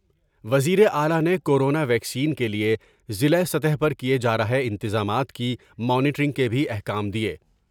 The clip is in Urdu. وزیراعلی نے کورونا ویکسین کے لئے ضلع سطح پر کئے جار ہے انتظامات کی مانیٹرنگ کے بھی احکام دیئے ۔